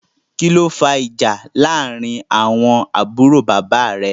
Kìlọ fà ìjà làrin àwọn àbúrò bàbá rè?